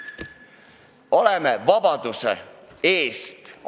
Me seisame vabaduse eest.